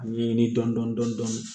A ɲɛɲini dɔndɔni dɔndɔni dɔn